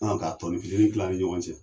Ɔn ka tɔɔni fitini kilan an ni ɲɔgɔn cɛ.